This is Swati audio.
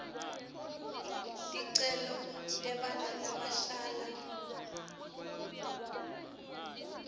ticelo tebantfu labahlala